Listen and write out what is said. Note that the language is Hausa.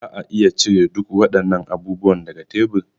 Za a iya cire duk waɗannan abubuwan daga tebur?